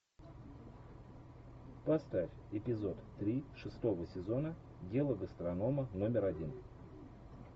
поставь эпизод три шестого сезона дело гастронома номер один